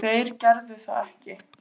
Þeir gerðu það ekki